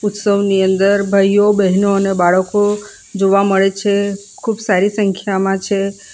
ઉત્સવ ની અંદર ભાઈઓ બહેનો અને બાળકો જોવા મળે છે ખૂબ સારી સંખ્યામાં છે.